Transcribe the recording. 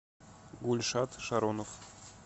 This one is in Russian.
гульшат шаронов